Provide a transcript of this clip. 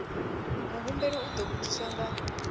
muhumbeli u ḓo vhudziswa nga